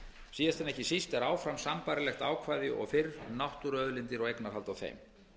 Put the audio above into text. síðast en ekki síst er áfram sambærilegt ákvæði og fyrr um náttúruauðlindir og eignarhald á þeim